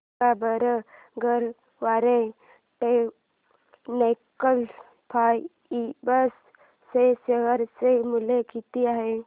सांगा बरं Garware technical fibres च्या शेअर चे मूल्य किती आहे